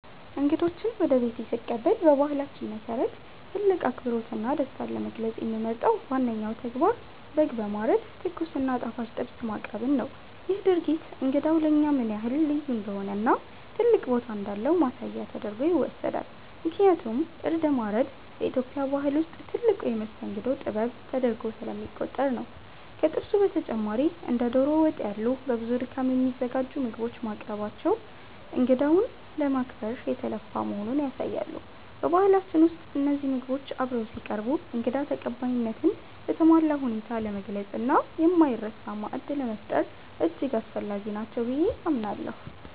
እንግዶችን ወደ ቤቴ ስቀበል በባህላችን መሰረት ትልቅ አክብሮትና ደስታን ለመግለጽ የምመርጠው ዋነኛው ተግባር በግ በማረድ ትኩስ እና ጣፋጭ ጥብስ ማቅረብን ነው። ይህ ድርጊት እንግዳው ለእኛ ምን ያህል ልዩ እንደሆነና ትልቅ ቦታ እንዳለው ማሳያ ተደርጎ ይወሰዳል፤ ምክንያቱም እርድ ማረድ በኢትዮጵያ ባህል ውስጥ ትልቁ የመስተንግዶ ጥበብ ተደርጎ ስለሚቆጠር ነው። ከጥብሱ በተጨማሪ እንደ ዶሮ ወጥ ያሉ በብዙ ድካም የሚዘጋጁ ምግቦች መቅረባቸው እንግዳውን ለማክበር የተለፋ መሆኑን ያሳያሉ። በባህላችን ውስጥ እነዚህ ምግቦች አብረው ሲቀርቡ እንግዳ ተቀባይነትን በተሟላ ሁኔታ ለመግለጽና የማይረሳ ማዕድ ለመፍጠር እጅግ አስፈላጊ ናቸው ብዬ አምናለሁ።